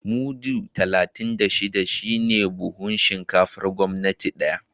Mudu talatin da shida ne buhun shinkafar gwamnati daya